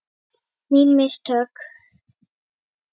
Mín mistök?